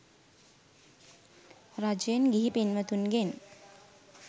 රජයෙන් ගිහි පින්වතුන්ගෙන්